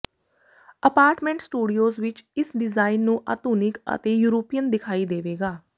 apartment studios ਵਿੱਚ ਇਸ design ਨੂੰ ਆਧੁਨਿਕ ਅਤੇ ਯੂਰਪੀਅਨ ਦਿਖਾਈ ਦੇਵੇਗਾ